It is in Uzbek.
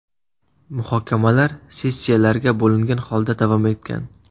Muhokamalar sessiyalarga bo‘lingan holda davom etgan.